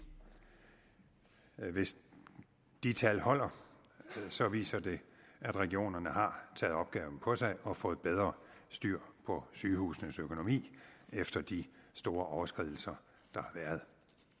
hvis de tal holder så viser de at regionerne har taget opgaven på sig og har fået bedre styr på sygehusenes økonomi efter de store overskridelser der har været